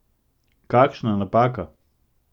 Kakšna napaka!